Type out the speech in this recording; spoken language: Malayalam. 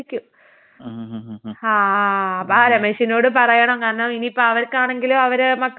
ആഹ് ആഹ് അപ്പാ രമേശിനോട് പറയണം കാരണം ഇനിയിപ്പൊ അവർക്കാണെങ്കിലും അവരേ മക്കൾക്കൊക്കെ ഇത് ബുദ്ധിമുട്ടായിരിക്കുമല്ലോ ഇപ്പോ.